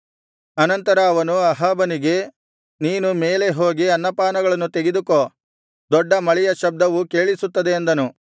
ಅನಂತರ ಅವನು ಅಹಾಬನಿಗೆ ನೀನು ಮೇಲೆ ಹೋಗಿ ಅನ್ನಪಾನಗಳನ್ನು ತೆಗೆದುಕೋ ದೊಡ್ಡ ಮಳೆಯ ಶಬ್ದವು ಕೇಳಿಸುತ್ತದೆ ಅಂದನು